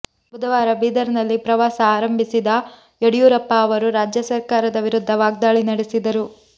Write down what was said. ಬುಧವಾರ ಬೀದರ್ನಲ್ಲಿ ಪ್ರವಾಸ ಆರಂಭಿಸಿದ ಯಡಿಯೂರಪ್ಪ ಅವರು ರಾಜ್ಯ ಸರ್ಕಾರದ ವಿರುದ್ಧ ವಾಗ್ದಾಳಿ ನಡೆಸಿದರು